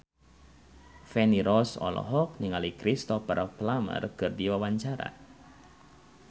Feni Rose olohok ningali Cristhoper Plumer keur diwawancara